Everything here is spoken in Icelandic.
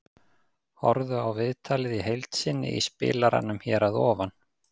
Horfðu á viðtalið í heild sinni í spilaranum hér fyrir ofan.